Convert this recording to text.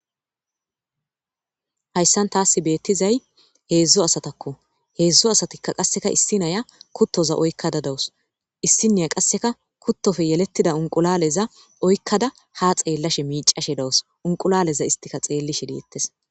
Haysan tassi bettizay hezhzhu asatako 3 asati issi Naya kuttoza oykada dawus. Issinaya qaseka kuttoppe yeletida unqulaleza oykada ha xellashe dawus unqulaleza istika xellishe detes.